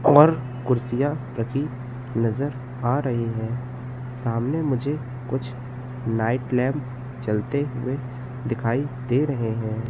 और कूर्सीया रखी नजर आ रही है सामने मुझे कुछ नाइट लैंप चलते हुए दिखाई दे रहे हैं।